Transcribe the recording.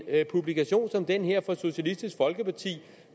at en publikation som den her fra socialistisk folkeparti